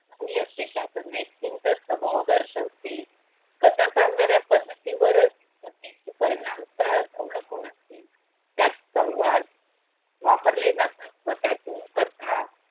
चंगली असते त्यातून व्यक्तींचा स्वभाव दर्शवते कथा सांगण्याच्या पद्धतीवरच प्रत्यक्ष परिणामकारक अवलंबून असते त्यात संवाद वापरला जातो वर त्याच्या कथा.